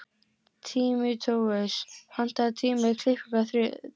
Tímóteus, pantaðu tíma í klippingu á þriðjudaginn.